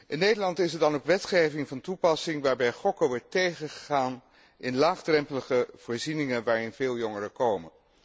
In Nederland is er dan ook wetgeving van toepassing waarbij gokken wordt tegengegaan in laagdrempelige voorzieningen waarin veel jongeren komen.